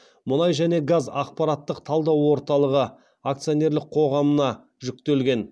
мұнай және газ ақпараттық талдау орталығы ақционерлік қоғамына жүктелген